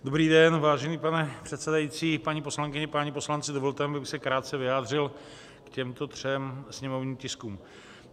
Dobrý den, vážený pane předsedající, paní poslankyně, páni poslanci, dovolte mi, abych se krátce vyjádřil k těmto třem sněmovním tiskům.